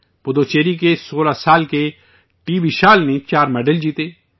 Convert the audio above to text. پڈوچیری کے 16 سال کے ٹی وشال نے چار میڈل جیتے